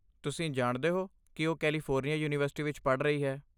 ਤੁਸੀਂ ਜਾਣਦੇ ਹੋ ਕਿ ਉਹ ਕੈਲੀਫੋਰਨੀਆ ਯੂਨੀਵਰਸਿਟੀ ਵਿੱਚ ਪੜ੍ਹ ਰਹੀ ਹੈ।